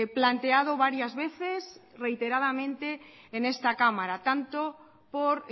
planteado varias veces reiteradamente en esta cámara tanto por